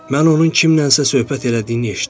Mən onun kimləsə söhbət elədiyini eşitdim.